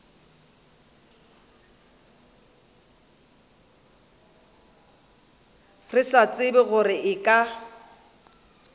sa tsebe gore e ka